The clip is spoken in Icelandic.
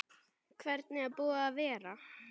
Hvernig er búið að vera?